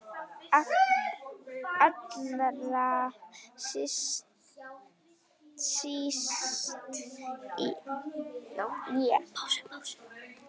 Allra síst ég!